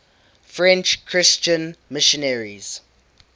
french christian missionaries